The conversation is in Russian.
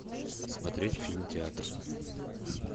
смотреть фильм театр